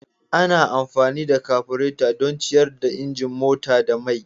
Ana amfani da kabureta don ciyar da injin mota da mai.